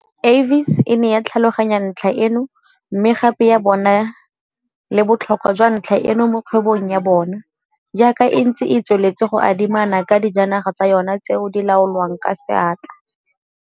"Avis e ne ya tlhaloganya ntlha eno, mme gape ya bona le botlhokwa jwa ntlha eno mo kgwebong ya bona, jaaka e ntse e tsweletse go adimana ka dijanaga tsa yona tseo di laolwang ka seatla."